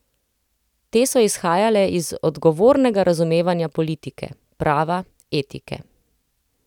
Te so izhajale iz odgovornega razumevanja politike, prava, etike.